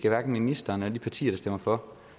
af ministeren eller de partier der stemmer for